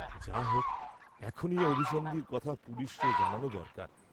যা হোক্ এখনি এ অভিসন্ধির কথা পুলিসে জানান দরকার।